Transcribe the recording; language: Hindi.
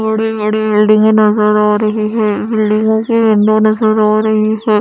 बड़ी बड़ी बिल्डिंगे नजर आ रही है बिल्डिंगो की विंडो नजर आ रही है।